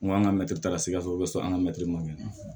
N ko an ka mɛtiri taara sikaso an ka mɛtiri ma kɛ